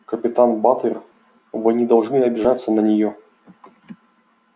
капитан батлер вы не должны обижаться на неё